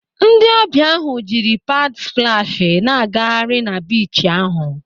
Ndị ọbịa ahụ jiri paad splashị na-agagharị na biichi ahụ.